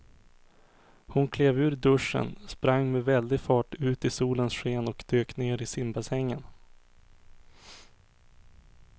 Hon klev ur duschen, sprang med väldig fart ut i solens sken och dök ner i simbassängen.